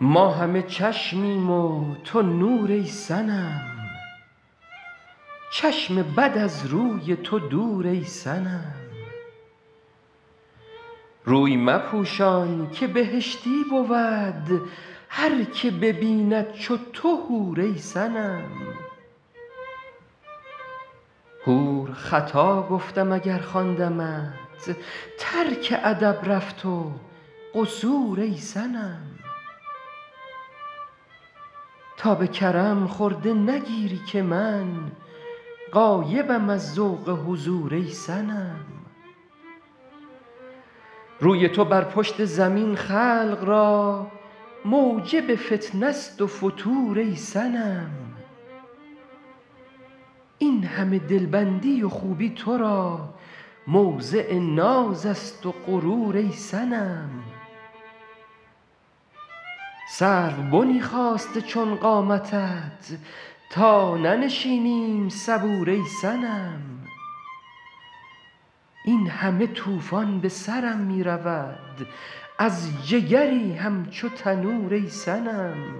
ما همه چشمیم و تو نور ای صنم چشم بد از روی تو دور ای صنم روی مپوشان که بهشتی بود هر که ببیند چو تو حور ای صنم حور خطا گفتم اگر خواندمت ترک ادب رفت و قصور ای صنم تا به کرم خرده نگیری که من غایبم از ذوق حضور ای صنم روی تو بر پشت زمین خلق را موجب فتنه ست و فتور ای صنم این همه دلبندی و خوبی تو را موضع ناز است و غرور ای صنم سروبنی خاسته چون قامتت تا ننشینیم صبور ای صنم این همه طوفان به سرم می رود از جگری همچو تنور ای صنم